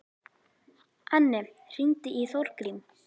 Anne, hringdu í Þórgrím.